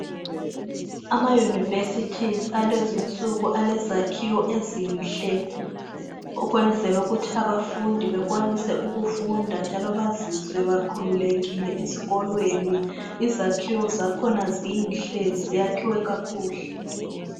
Amayunivesithi akulezinsuku alezakhiwo ezinhle ukwenzela ukuthi abafundi benelise ukufunda njalo bazizwe bekhululekile ezikolweni, izakhiwo zakhona zinhle zakhiwe kakuhle.